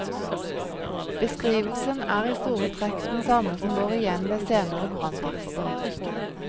Beskrivelsen er i store trekk den samme som går igjen ved senere branntakster.